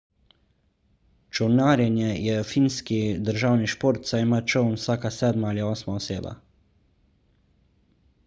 čolnarjenje je finski državni šport saj ima čoln vsaka sedma ali osma oseba